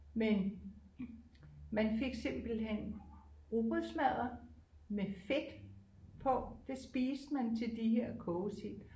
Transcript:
Men man fik simpelthen rugbrødsmadder med fedt på det spiste man til de her kogesild